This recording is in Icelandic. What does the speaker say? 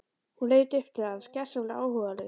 Hún leit upp til hans gersamlega áhugalaus.